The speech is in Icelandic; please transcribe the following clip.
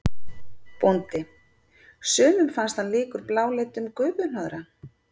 BÓNDI: Sumum fannst hann líkur bláleitum gufuhnoðra.